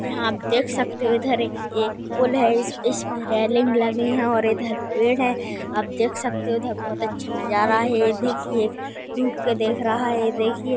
यहा आप देख सकते हो ये एक पूल है इस ईसपे रेलिंग लगी है और इधर पेड़ है आप देख सकते हो उधर बहुत अच्छा नज़ारा है देखिये रुक के देख रहा है देखिये--